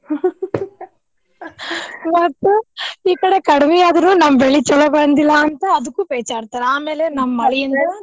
ಇವತ್ತು ಈ ಕಡೆ ಕಡ್ಮಿ ಆದ್ರೂ ನಮ್ಮ್ ಬೆಳಿ ಚುಲೊ ಬಂದಿಲ್ಲಾ ಅಂತ ಅದಕ್ಕೂ ಪೆಚಾಡ್ತಾರ ಆಮೇಲೆ ನಮ್ಮ್ ಮಳಿಯಿಂದ.